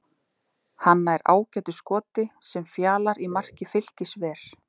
Hann nær ágætu skoti sem Fjalar í marki Fylkis ver.